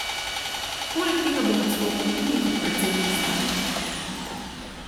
Poleg tega bo odstopil tudi kot predsednik stranke.